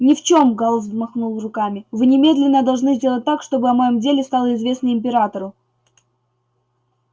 ни в чем гаал взмахнул руками вы немедленно должны сделать так чтобы о моем деле стало известно императору